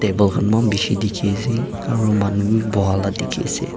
table khan mon bhisi dikhi ase aru manu bhi boha lah dikhi ase.